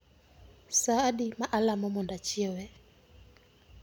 Sa adi ma alamo mondo ochiewe?